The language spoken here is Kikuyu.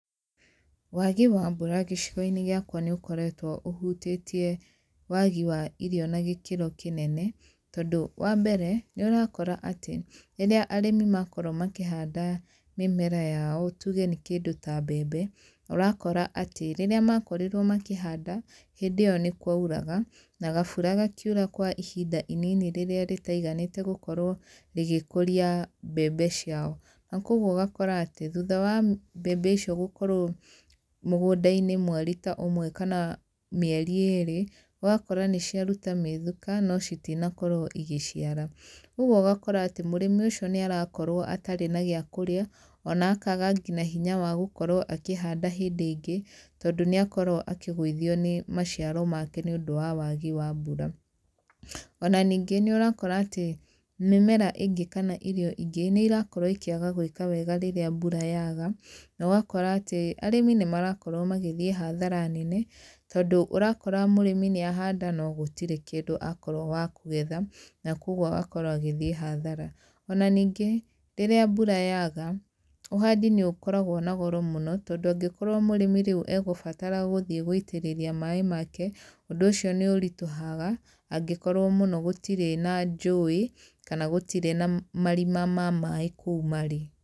Waagi wa mbura gĩcigo-inĩ gĩakwa nĩ ũkoretwo ũhutĩtie waagi wa irio na gĩkĩro kĩnene, tondũ, wa mbere, nĩ ũrakora atĩ, rĩrĩa arĩmi makorwo makĩhanda mĩmera yao tuge nĩ kĩndũ ta mbembe, ũrakora atĩ rĩrĩa makorirwo makĩhanda, hĩndĩ ĩyo nĩ kũauraga, na gabura gakiura kwa ihinda inini rĩrĩa rĩtaiganĩte gũkorwo rĩgĩkũria mbembe ciao. Na kũguo ũgakora atĩ, thutha wa mbembe icio gũkorwo mũgũnda-inĩ mweri ta ũmwe kana mĩeri ĩĩrĩ, ũgakora nĩ ciaruta mĩthuka, no citinakorwo igĩciara. Ũguo ũgakora atĩ mũrĩmi ũcio nĩ arakorwo atarĩ na gĩa kũrĩa, ona akaaga ngina hinya wa gũkorwo akĩhanda hĩndĩ ĩngĩ, tondũ nĩ akorwo akĩgũithio nĩ maciaro make nĩ ũndũ wa wagi wa mbura. Ona ningĩ nĩ ũrakora atĩ mĩmera ĩngĩ kana irio ingĩ, nĩ irakorwo ikĩaga gwĩka wega rĩrĩa mbura yaga, na ũgakora atĩ, arĩmi nĩ marakorwo magĩthiĩ hathara nene, tondũ ũrakora mũrĩmi nĩ ahanda no gũtirĩ kĩndũ akorwo wa kũgetha. Na kũguo agakorwo agĩthiĩ hathara. Ona ningĩ, rĩrĩa mbura yaaga, ũhandi nĩ ũkoragwo na goro mũno, tondũ angĩkorwo mũrĩmi rĩu egũbatara gũthiĩ gũitĩrĩria maaĩ make, ũndũ ũcio nĩ ũritũhaga, angĩkorwo mũno gũtirĩ na njũĩ, kana gũtirĩ na marima ma maaĩ kũu marĩ.